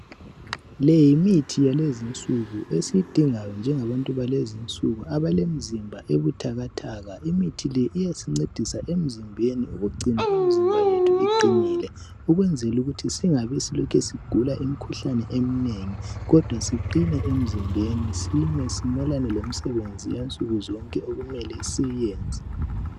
Leyi yimithi yalezinsuku esiyidingayo njengabantu balezinsuku abalemizimba ebutakataka. Imithi leyi iyasincedisa emzimbeni ukugcina imizimba yethu iqinile ukwenzelukuthi singabi silokhe sigula imikhuhlane eminengi kodwa siqine emizimbeni sime simelane lemisebenzi eyansuku zonke okumele siyenze.